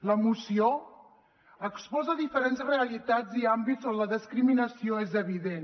la moció exposa diferents realitats i àmbits on la discriminació és evident